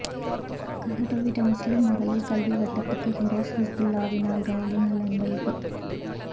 கஹட்டோவிட்ட முஸ்லிம் மகளிர் கல்வி வட்டத்துக்கு ஹிராஸ் ஹிஸ்புல்லாஹ்வினால் கணணிகள் அன்பளிப்பு